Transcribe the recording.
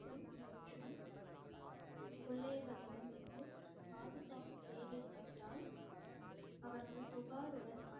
கொள்ளையர்களிடம் இருந்து பாதுகாப்பு தேவைப்பட்டால், அவர்கள் புகாருடன்